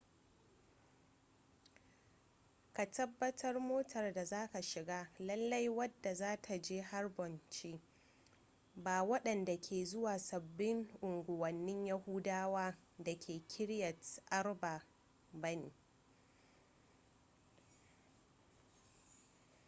ka tabbatar motar da zaka shiga lalle wadda za ta je hebron ce ba wadanda ke zuwa sabbin unguwanni yahudawa da ke kiryat arba ba ne